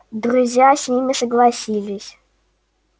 друзья с ними согласились